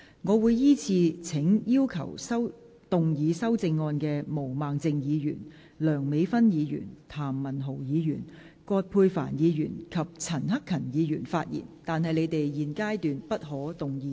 我會依次請要動議修正案的毛孟靜議員、梁美芬議員、譚文豪議員、葛珮帆議員及陳克勤議員發言；但他們在現階段不可動議修正案。